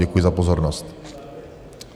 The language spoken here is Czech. Děkuji za pozornost.